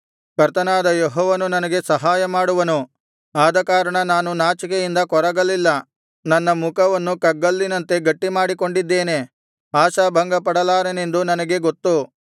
ಕರ್ತನಾದ ಯೆಹೋವನು ನನಗೆ ಸಹಾಯಮಾಡುವನು ಆದಕಾರಣ ನಾನು ನಾಚಿಕೆಯಿಂದ ಕೊರಗಲಿಲ್ಲ ನನ್ನ ಮುಖವನ್ನು ಕಗ್ಗಲ್ಲಿನಂತೆ ಗಟ್ಟಿಮಾಡಿಕೊಂಡಿದ್ದೇನೆ ಆಶಾಭಂಗಪಡಲಾರನೆಂದು ನನಗೆ ಗೊತ್ತು